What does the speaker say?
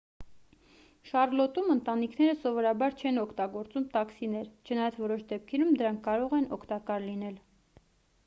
շառլոտում ընտանիքները սովորաբար չեն օգտագործում տաքսիներ չնայած որոշ դեպքերում դրանք կարող են օգտակար լինել